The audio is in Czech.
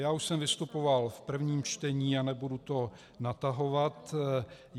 Já už jsem vystupoval v prvním čtení a nebudu to natahovat.